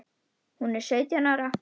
Hún er sautján ára.